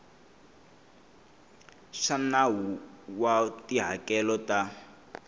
swa nawu wa tihakelo ta